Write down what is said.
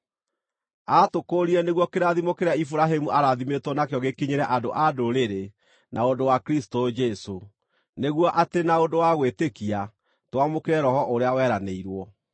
Aatũkũũrire nĩguo kĩrathimo kĩrĩa Iburahĩmu aarathimĩtwo nakĩo gĩkinyĩre andũ-a-Ndũrĩrĩ na ũndũ wa Kristũ Jesũ, nĩguo atĩ na ũndũ wa gwĩtĩkia twamũkĩre Roho ũrĩa weranĩirwo.